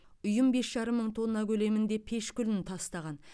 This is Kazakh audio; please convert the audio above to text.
ұйым бес жарым мың тонна көлемінде пеш күлін тастаған